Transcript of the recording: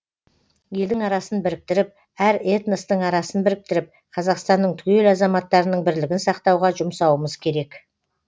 елдің арасын біріктіріп әр этностың арасын біріктіріп қазақстанның түгел азаматтарының бірлігін сақтауға жұмсауымыз керек